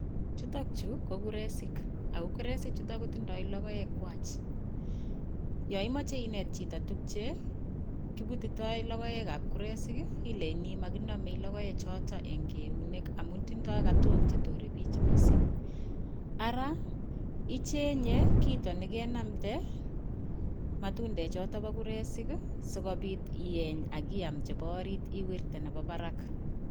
Chuutok chu ko kuresik akokuresik chutok kotindoi logoek kwai ya imeche inet chito tukche kibututoi logoek ap kuresik ileyini makiname logoek chootok ing' eunek amu tindoi katok chetore biich miising' ara ichenye kito nekenamde matundek chootok pa kuresik sikobiit ieny akiam chebo orit iwirte nebo barak